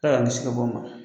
Ala k'an kisi ka bɔ a ma.